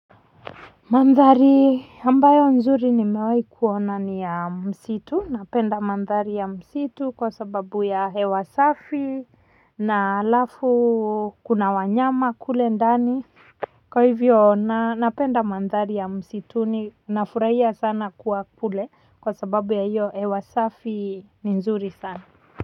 Mandhari ambayo nzuri nimewahi kuona ni ya msitu napenda mandhari ya msitu kwa sababu ya hewa safi na halafu kuna wanyama kule ndani. Kwa hivyo napenda mandhari ya msituni nafurahia sana kuwa kule kwa sababu ya hiyo hewa safi ni nzuri sana.